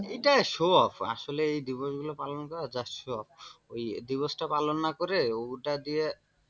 এটা show off আসলেই এই দিবসগুলো পালন করা just show off সব ওই দিবসটা পালন না করে ওটা দিয়ে।